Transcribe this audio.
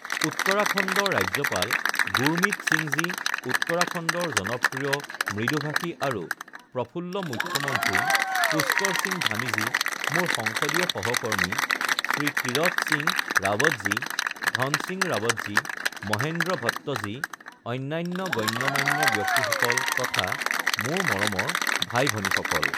উত্তৰাখণ্ডৰ ৰাজ্যপাল গুৰমিৎ সিংজী উত্তৰাখণ্ডৰ জনপ্ৰিয়, মৃদুভাষী আৰু প্ৰফুল্ল মুখ্যমন্ত্ৰী পুষ্কৰ সিং ধামীজী মোৰ সংসদীয় সহকৰ্মী শ্ৰী তীৰথ সিং ৰাৱতজী ধন সিং ৰাৱতজী, মহেন্দ্ৰ ভট্টজী, অন্যান্য গণ্যমান্য ব্যক্তিসকল তথা মোৰ মৰমৰ ভাই ভনীসকল!